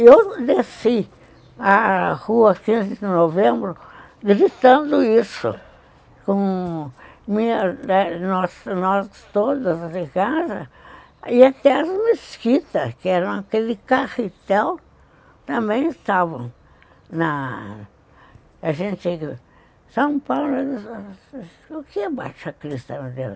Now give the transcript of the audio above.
E eu desci a rua, quinze de novembro, gritando isso, com nós nós todas lá de casa, e até as mesquitas, que eram aquele carretel, também estavam na... A gente... São Paulo... O que é Baixacrista, meu Deus?